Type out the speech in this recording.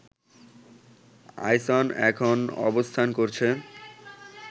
আইসন এখন অবস্থান করছে